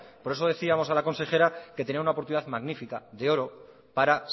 por eso decíamos a la consejera que tenía una oportunidad magnífica de oro para